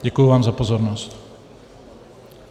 Děkuji vám za pozornost.